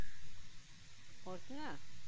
প্রতিমা?